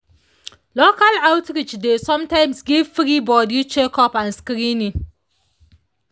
local outreach dey sometimes give free body checkup and screening.